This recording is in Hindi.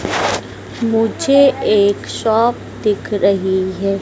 मुझे एक शॉप दिख रही है।